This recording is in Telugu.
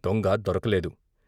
దొంగ దొరకలేదు.